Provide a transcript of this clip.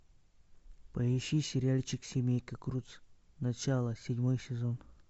поищи сериальчик семейка крудс начало седьмой сезон